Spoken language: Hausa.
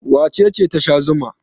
Wace ce ta sha zuma?